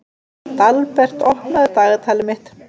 Dalbert, opnaðu dagatalið mitt.